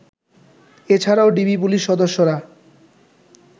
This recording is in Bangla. এছাড়াও ডিবি পুলিশ সদস্যরা